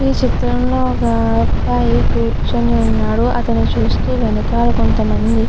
ఈ చిత్రం లో ఒక అబ్బాయి కూర్చొని ఉన్నాడు అతన్ని చుస్తే వెనకాల కొంతమంది --